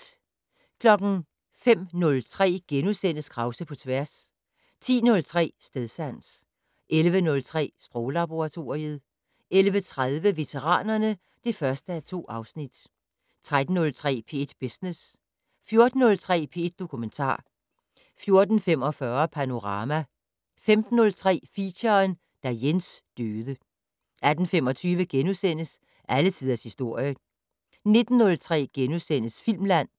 05:03: Krause på tværs * 10:03: Stedsans 11:03: Sproglaboratoriet 11:30: Veteranerne (1:2) 13:03: P1 Business 14:03: P1 Dokumentar 14:45: Panorama 15:03: Feature: Da Jens døde 18:25: Alle tiders historie * 19:03: Filmland *